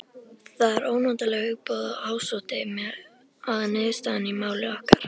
Það ónotalega hugboð ásótti mig að niðurstaðan í máli okkar